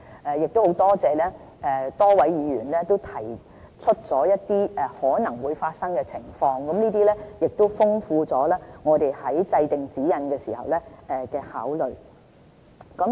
很感謝多位議員提出一些可能發生的情況，豐富了我們在制訂指引時的考慮。